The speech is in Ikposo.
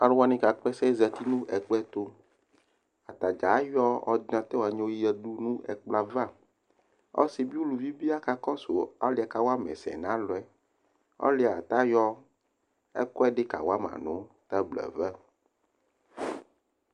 Aluwani kakplɛsɛ azati nu ɛkplɔtu Atafeagblo ayɔ ɔrdinatɔr yadu nu ɛkplɔ ava Ɔsi bi uluvi bi akakosu ɔliɛ kawa mɛ ɛsɛ Ɔliɛ layɔ ɛkuɛ kawama nu tablo ava